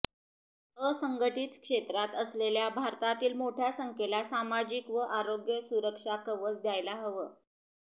असंघटित क्षेत्रात असलेल्या भारतातील मोठ्या संख्येला सामाजिक व आरोग्य सुरक्षा कवच द्यायला हवं